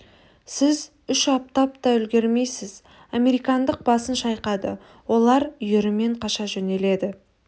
сіз үш аттап та үлгірмейсіз американдық басын шайқады олар үйірімен қаша жөнеледі